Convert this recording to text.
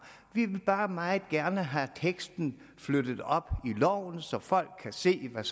vi vil bare meget gerne have teksten flyttet op i loven så folk kan se hvad